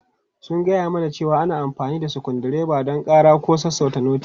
Sun gaya mana cewa ana amfani da sukuru dreba don ƙara ko sassauta noti.